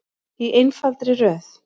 Í einfaldri röð.